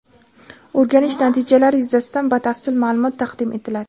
O‘rganish natijalari yuzasidan batafsil ma’lumot taqdim etiladi.